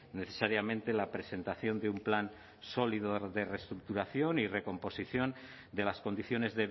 necesariamente la presentación de un plan sólido de reestructuración y recomposición de las condiciones